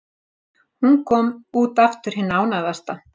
Hún kom út aftur hin ánægðasta.